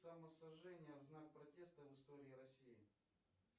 самосожжение в знак протеста в истории россии